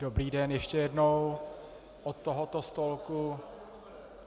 Dobrý den ještě jednou od tohoto stolku.